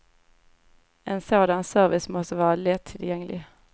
En sådan service måste vara lättillgänglig.